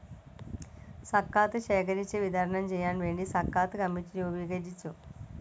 സക്കാത്ത് ശേഖരിച്ചു വിതരണം ചെയ്യാൻ വേണ്ടി സക്കാത്ത് കമ്മിറ്റി രൂപീകരിച്ചു.